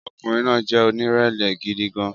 Ọkùnrin náà jẹ́ onírẹ̀lẹ̀ gidi gan-an